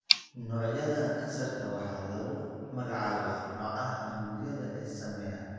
Noocyada kansarka waxaa lagu magacaabaa nooca unugyada ee saameeya.